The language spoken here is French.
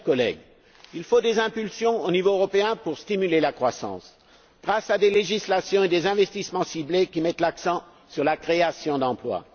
Chers collègues, il faut des impulsions au niveau européen pour stimuler la croissance, grâce à des législations et à des investissements ciblés qui mettent l'accent sur la création d'emplois.